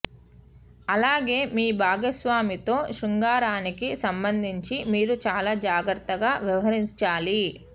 అలాగే మీ భాగస్వామితో శృంగారానికి సంబంధించి మీరు చాలా జాగ్రత్తగా వ్యవహరించాలి